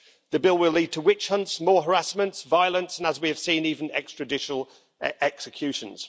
The bill will lead to witch hunts, more harassment, violence and, as we have seen, even extrajudicial executions.